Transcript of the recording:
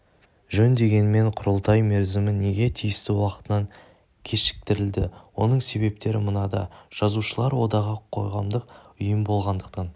жөн дегенмен құрылтай мерзімі неге тиісті уақытынан кешіктірілді оның себептері мынада жазушылар одағы қоғамдық ұйым болғандықтан